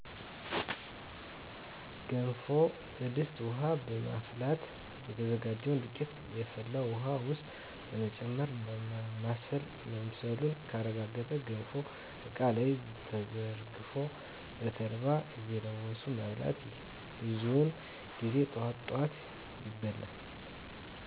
ገንፎ በድስት ውሀ በማፍላት የተዘጋጀውን ዱቄት የፈላ ውሀ ውስጥ በመጨመር ማማሰል መብሰሉ ከተረጋገጠ ገንፎው እቃ ላይ ተዘርግፎ በተልባ እየለወሱ መብላት። ብዙውን ጊዜ ጠዋት ጠዋት ይበላል።